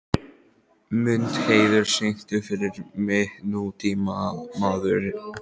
Mundheiður, syngdu fyrir mig „Nútímamaður“.